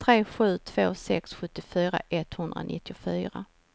tre sju två sex sjuttiofyra etthundranittiofyra